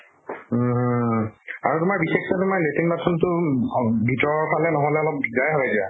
উম। আৰু তোমাৰ বিশেষকে তোমাৰ latrine bathroom টো অম ভতৰৰ ফালে নহলে অলপ দিগ্দাৰ হয় দিয়া।